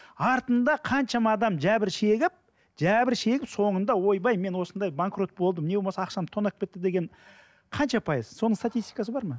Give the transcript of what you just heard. артында қаншама адам жәбір шегіп жәбір шегіп соңында ойбай мен осындай банкрот болдым не болмаса ақшамды тонап кетті деген қанша пайыз соны статистикасы бар ма